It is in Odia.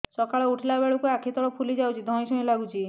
ସକାଳେ ଉଠିଲା ବେଳକୁ ଆଖି ତଳ ଫୁଲି ଯାଉଛି ଧଇଁ ସଇଁ ଲାଗୁଚି